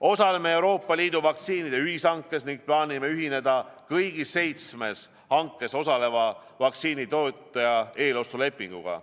Osaleme Euroopa Liidu vaktsiinide ühishankes ning plaanime ühineda kõigi seitsme hankes osaleva vaktsiinitootja eelostulepinguga.